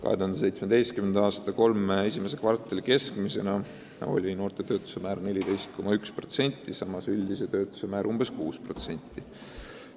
2017. aasta kolme esimese kvartali keskmisena oli noorte töötuse määr 14,1%, samas üldine töötuse määr oli umbes 6%.